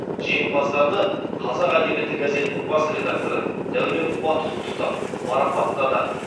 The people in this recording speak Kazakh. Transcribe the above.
жеңімпаздарды қазақ әдебиеті газетінің бас редакторы дәурен қуат құттықтап марапаттады